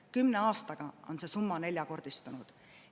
Kümne aastaga on see summa neljakordistunud.